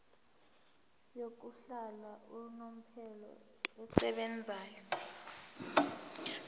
yokuhlala unomphela esebenzayo